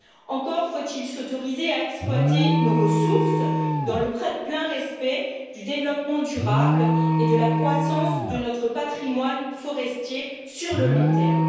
Encore faut il s'autoriser à exploiter nos ressources dans le plein respect du développement durable et de la croissance de notre patrimoine forestier sur le long terme.